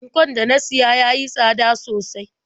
Ankon da na siya ya yi tsada sosai.